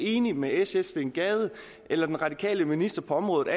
enig med sfs steen gade eller den radikale minister på området